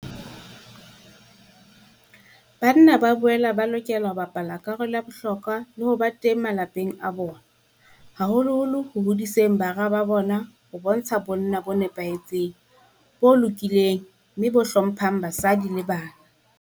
Banna ba boela ba lokela ho bapala karolo ya bohlokwa le ho ba teng malapeng a bona, haholoholo ho hodiseng bara ba bona ho bontsha bonna bo nepahetseng, bo lokileng mme bo hlo mphang basadi le bana.